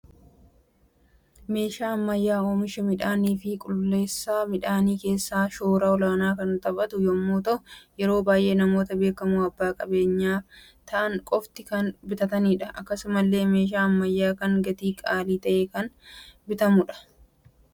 Meeshaa Ammayyaa oomishaa miidhaanii fi qulleessa miidhaanii keessatti shoora olaanaa kan taphatu yemmuu ta'u, yeroo baay'ee namoota beekamoo abbaa qabeenya ta'an qofti kan bitatanidha. Akkasumalle meeshaan ammayyaa kun gatii qaalii ta'en kan bitamudha.